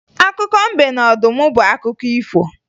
Akụkọ mbe na ọdụm bụ akụkọ ifo